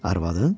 Arvadın?